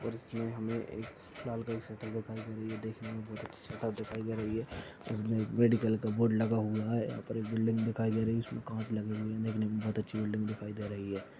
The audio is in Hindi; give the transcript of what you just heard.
और इसमें हमें एक लाल कलर की शटर दिखाई दे रही हैदेखने में बहुत अच्छी शटर दिखाई दे रही है इसमें एक मेडिकल का बोर्ड लगा हुआ हैं। यहाँ पर एक बिल्डिंग दिखाई दे रही है जिस पर कांच लगे हए हैं देखने में बहुत अच्छी बिल्डिंग दिखाई दे रही हैं।